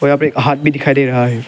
यहां पे एक हाथ भी दिखाई दे रहा है।